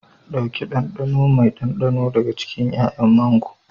Ɗauki ɗanɗano mai ɗanɗano daga cikin 'ya'yan mango.